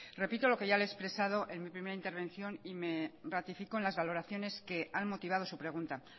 repito lo que ya le he expresado en mi primera intervención y me ratifico en las valoraciones que han motivado su pregunta